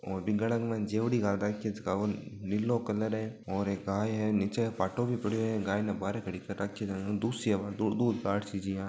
और बिंगाड़ा के माय जेवड़ी गाल राखी है जका को नीलो कलर है और एक गाय है नीचे पाटो भी पड़ियो है गाय ने बारे खड़ी कर राखी है जाने दूसी अबार दूध काढ़ सी जिया।